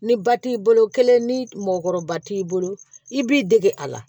Ni ba t'i bolo kelen ni mɔkɔrɔba t'i bolo i b'i dege a la